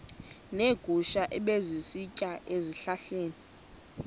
neegusha ebezisitya ezihlahleni